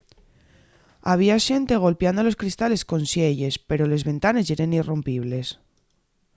había xente golpiando los cristales con sielles pero les ventanes yeren irrompibles